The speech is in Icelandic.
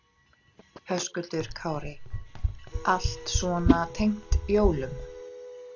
Höskuldur Kári: Allt svona tengt jólum?